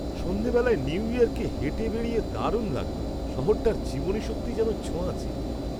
সন্ধেবেলায় নিউ ইয়র্কে হেঁটে বেড়িয়ে দারুণ লাগলো। শহরটার জীবনীশক্তি যেন ছোঁয়াচে।